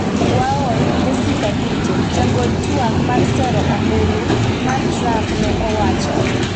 Waol," Jessica Ditto, jagol twak mar sero ombulu mar Trump ne owacho.